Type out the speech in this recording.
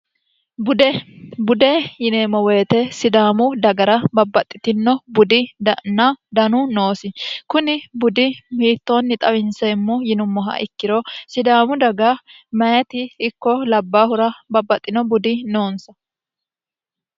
bude yineemmo woyite sidaamu dagara babbaxxitino budi danu noosi kuni budi hiittoonni xawinseemmo yinummoha ikkiro sidaamu daga mayiti ikko labbaahura babbaxxino budi noonsa